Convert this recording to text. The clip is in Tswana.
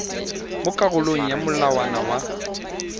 mo karolong ya molawana wa